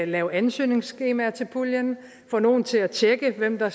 lave ansøgningsskema til puljen få nogle til at tjekke hvem der